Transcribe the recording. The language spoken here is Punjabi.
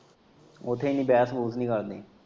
ਉੱਥੇ ਇੰਨੀ ਵੈਸ ਵੂਸ ਨਈ ਕਰਦੇ।